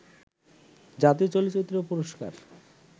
জাতীয় চলচ্চিত্র পুরস্কার